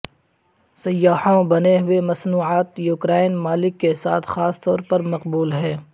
سیاحوں بنے ہوئے مصنوعات یوکرائن مالک کے ساتھ خاص طور پر مقبول ہے